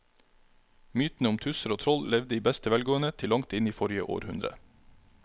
Mytene om tusser og troll levde i beste velgående til langt inn i forrige århundre.